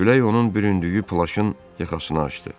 Külək onun büründüyü plaşın yaxasını açdı.